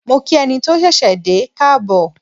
Mo kí ẹni tó ṣẹ̀ṣẹ̀ dé káàbọ̀.